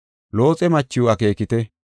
Looxe machiw akeekite;